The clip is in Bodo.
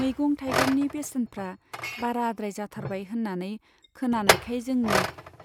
मैगं थाइगंनि बेसेनफ्रा बाराद्राय जाथारबाय होन्नानै खोनानायखाय जोंनि